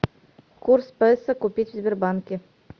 курс песо купить в сбербанке